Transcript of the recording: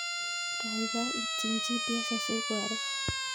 Gaigai ityin g.p.s asi koaror